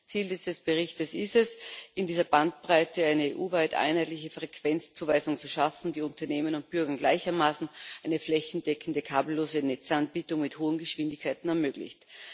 Ziel dieses Berichts ist es, in dieser Bandbreite eine EU weit einheitliche Frequenzzuweisung zu schaffen, die Unternehmen und Bürgern gleichermaßen eine flächendeckende kabellose Netzanbindung mit hohen Geschwindigkeiten ermöglicht.